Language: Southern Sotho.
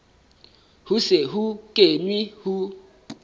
ho se ho kenwe ho